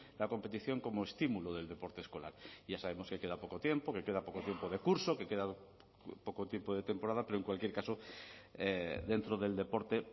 la competición como estímulo del deporte escolar ya sabemos que queda poco tiempo que queda poco tiempo de curso que queda poco tiempo de temporada pero en cualquier caso dentro del deporte